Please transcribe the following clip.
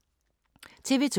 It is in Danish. TV 2